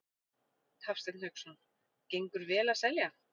Hafsteinn Hauksson: Gengur vel að selja?